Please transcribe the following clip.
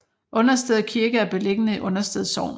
Understed Kirke er beliggende i Understed Sogn